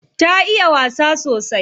Ta iya wasa sosai.